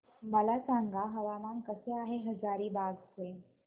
मला सांगा हवामान कसे आहे हजारीबाग चे